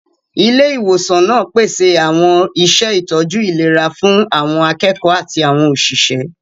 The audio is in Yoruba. Ilé ìwòsàn náà pèsè àwọn iṣẹ́ ìtọ́jú ìlera fún àwọn akẹ́kọ̀ọ́ àti àwọn òṣìṣẹ́.